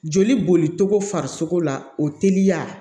Joli boli cogo farisoko la o teliya